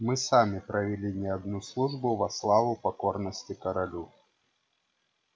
мы сами провели не одну службу во славу покорности королю